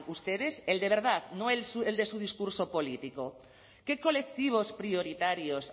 ustedes el de verdad no el de su discurso político qué colectivos prioritarios